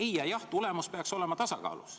Ei- ja jah-tulemus peaksid olema tasakaalus.